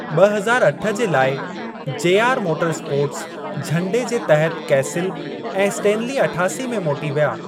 ब॒ हज़ार अठ जे लाइ जेआर मोटरस्पोर्ट्स झंडे जे तहत कैसिल ऐं स्टेनली अठासी में मोटी विया।